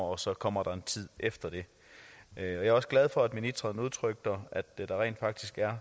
og så kommer der en tid efter det jeg er også glad for at ministeren gav udtryk for at der rent faktisk er